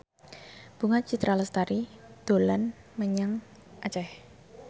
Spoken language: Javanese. Bunga Citra Lestari dolan menyang Aceh